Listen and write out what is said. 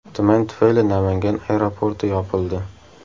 Tuman tufayli Namangan aeroporti yopildi.